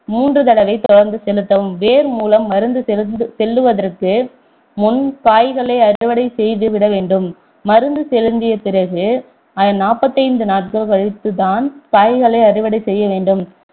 மூன்று தடவை தெடர்ந்து செலுத்தவும் வேர் மூலம் மருந்து செல்லுவதற்கு முன் காய்களை அறுவடை செய்து விட வேண்டும் மருந்து செலுத்திய பிறகு நாப்பத்தைந்து நாட்கள் கழித்துதான் காய்களை அறுவடை செய்ய வேண்டும்